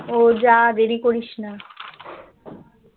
ও যা দেরি করিস না